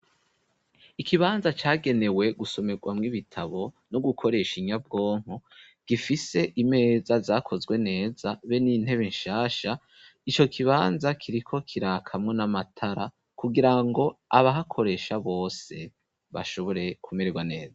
Ikibanza cagenewe gusomerwamwo ibitabo no gukoresha inyabwonko gifise imeza zakozwe neza be n'intebe shasha ico kibanza kiriko kirakamwo n'amatara kugirango abahakoresha bose bashobore kumererwa neza.